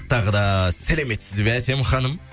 тағы да сәлеметсіз бе әсем ханым